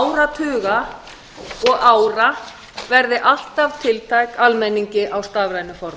áratuga og ára verði alltaf tiltæk almenningi á stafrænu formi